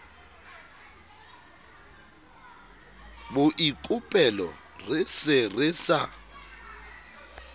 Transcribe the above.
boikopelo re se re sa